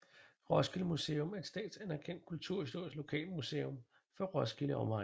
Roskilde Museum er et statsanerkendt kulturhistorisk lokalmuseum for Roskilde og omegn